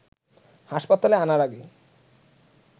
হাসপাতালে আনার আগেই